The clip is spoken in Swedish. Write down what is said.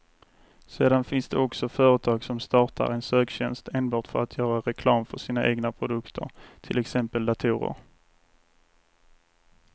Sedan finns det också företag som startar en söktjänst enbart för att göra reklam för sina egna produkter, till exempel datorer.